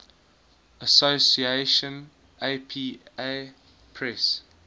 association apa press